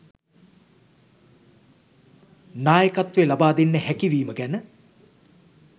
නායකත්වය ලබා දෙන්න හැකිවීම ගැන